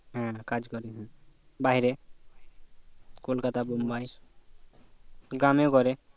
হ্যাঁ কাজ করে বাহিরে kolkata bombay গ্রামেও করে